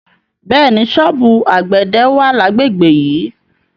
Bẹ́ẹ̀ni, ṣọ́ọ̀bù àgbẹ̀dẹ wà lágbègbè yìí.